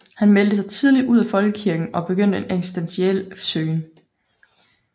Han meldte sig tidligt ud af folkekirken og begyndte en eksistentiel søgen